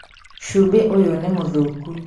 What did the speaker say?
Cumbĩ ũyũ nĩmũthũkũ